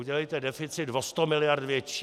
Udělejte deficit o sto miliard větší.